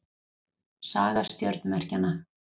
Saga stjörnumerkjanna.